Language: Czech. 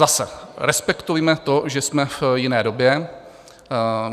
Zase respektujme to, že jsme v jiné době.